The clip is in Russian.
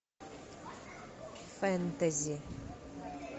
фэнтези